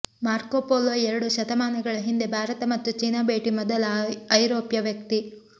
ಮಾರ್ಕೊ Polo ಎರಡು ಶತಮಾನಗಳ ಹಿಂದೆ ಭಾರತ ಮತ್ತು ಚೀನಾ ಭೇಟಿ ಮೊದಲ ಐರೋಪ್ಯ ವ್ಯಕ್ತಿ